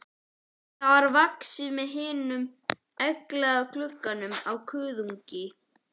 Það er vaxið við himnuna í egglaga glugganum á kuðungi.